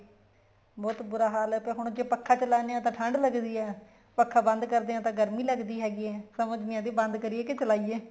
ਬਹੁਤ ਬੂਰਾ ਹਾਲ ਏ ਤੇ ਹੁਣ ਪੱਖਾ ਚਲਾਉਦੇ ਹਾਂ ਤਾਂ ਠੰਡ ਲੱਗਦੀ ਏ ਪੱਖਾ ਬੰਦ ਕਰਦੇ ਹੈਗੇ ਤਾਂ ਗਰਮੀ ਲੱਗਦੀ ਹੈਗੀ ਏ ਸਮਝ ਨਹੀਂ ਆਦੀ ਬੰਦ ਕਰੀਏ ਕੇ ਚਲਾਈਏ